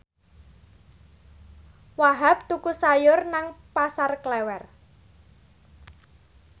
Wahhab tuku sayur nang Pasar Klewer